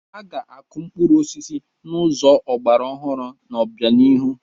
Aga na-akụ mkpụrụ osisi n'ụzọ ọgbara ọhụrụ n'obianihu.